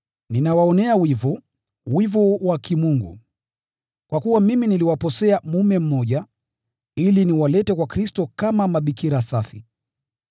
Ninawaonea wivu, wivu wa Kimungu, kwa kuwa mimi niliwaposea mume mmoja, ili niwalete kwa Kristo kama mabikira safi.